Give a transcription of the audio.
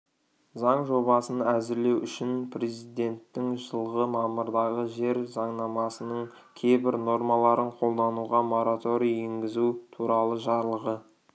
заң жобасын әзірлеу үшін президентінің жылғы мамырдағы жер заңнамасының кейбір нормаларын қолдануға мораторий енгізу туралы жарлығы